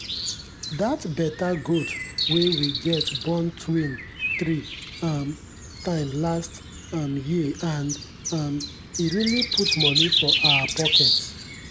that better goat wey we get born twin three um time last um year and um e really put money for our pocket.